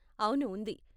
అవును, ఉంది.